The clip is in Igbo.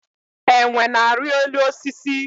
Enwe na-arị elu osisi.